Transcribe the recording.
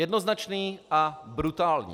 Jednoznačný a brutální.